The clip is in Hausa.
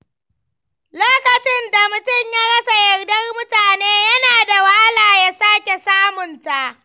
Lokacin da mutum ya rasa yardar mutane, yana da wahala ya sake samunta.